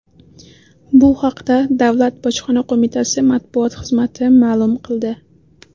Bu haqda Davlat bojxona qo‘mitasi matbuot xizmati ma’lum qildi .